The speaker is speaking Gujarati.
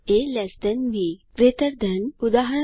એ લ્ટ બી ગ્રેટર ધેન160 ઉદા